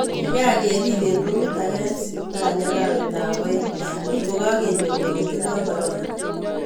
Kikakerib eng rumit ake eng siptali arawet ab aeng kokikakenyor kole tindo corona.